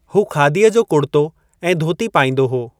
हू खादीअ जो कुड़तो ऐं धोती पाईंदो हो।